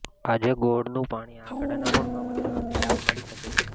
આજે ગોળનું પાણી આંકડાના મૂળમાં પધરાવવાથી લાભ મળી શકે છે